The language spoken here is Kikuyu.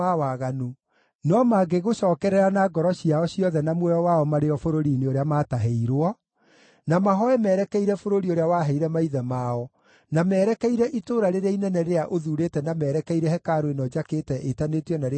no mangĩgũcookerera na ngoro ciao ciothe na muoyo wao marĩ o bũrũri-inĩ ũrĩa maatahĩirwo, na mahooe merekeire bũrũri ũrĩa waheire maithe mao, na merekeire itũũra rĩrĩa inene rĩrĩa ũthuurĩte na merekeire hekarũ ĩno njakĩte ĩtanĩtio na Rĩĩtwa rĩaku;